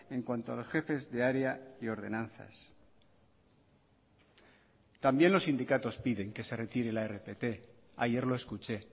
en cuanto a los jefes de área y ordenanzas también los sindicatos piden que se retire la rpt ayer lo escuché